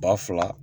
Ba fila